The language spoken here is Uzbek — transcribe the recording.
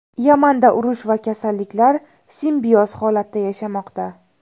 Yamanda urush va kasalliklar simbioz holatda yashamoqda.